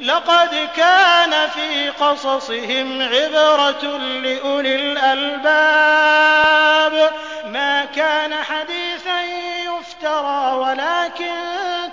لَقَدْ كَانَ فِي قَصَصِهِمْ عِبْرَةٌ لِّأُولِي الْأَلْبَابِ ۗ مَا كَانَ حَدِيثًا يُفْتَرَىٰ وَلَٰكِن